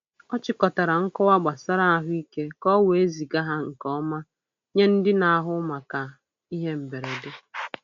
Ọ chịkọtara nkọwa gbasara ahụike ka o wee ziga ha nke ọma nye ndị na-ahụ maka ihe mberede.